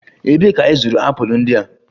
Ebee ka ị zụrụ apụl ndị a?